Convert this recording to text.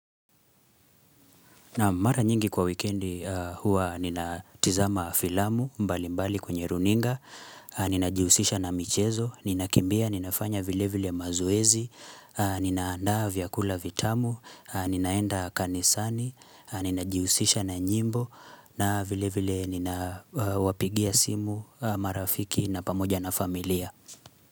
Mara nyingi kwa wikendi huwa ninatizama filamu mbali mbali kwenye runinga, ninajihusisha na michezo, ninakimbia, ninafanya vile vile mazoezi, ninaandaa vyakula vitamu, ninaenda kanisani, ninajihusisha na nyimbo na vile vile nina wapigia simu marafiki na pamoja na familia.